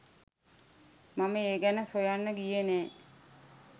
මම ඒ ගැන සොයන්න ගියේ නැහැ.